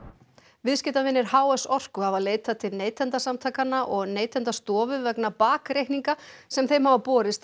viðskiptavinir h s Orku hafa leitað til Neytendasamtakanna og Neytendastofu vegna bakreikninga sem þeim hafa borist að